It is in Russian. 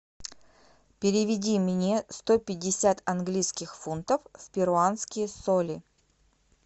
переведи мне сто пятьдесят английских фунтов в перуанские соли